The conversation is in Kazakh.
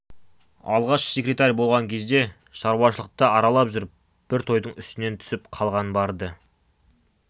алғаш секретарь болған кезде шаруашылықты аралап жүріп бір тойдың үстінен түсіп қалғаны бар-ды